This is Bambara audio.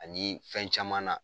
Anii fɛn caman na